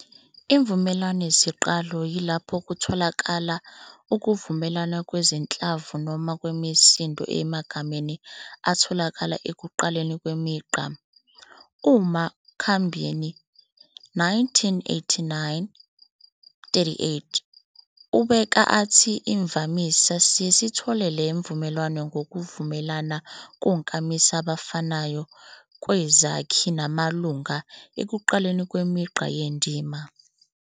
Imvumelwano-siqalo yilapho kutholakala ukuvumelana kwezinhlamvu noma kwemisindo emagameni atholakala ekuqaleni kwemigqa. UMakhambeni, 1989-38, ubeka athi imvamisa siye sithole le mvumelwano ngokuvumelana konkamisa abafanayo, kwezakhi namalunga ekuqaleni kwemigqa yendima.